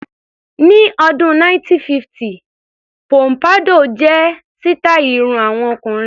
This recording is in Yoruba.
Ní ọdún 1950 póḿpádọ́ọ̀ jẹ́ sítàì irun àwọn ọkùnrin.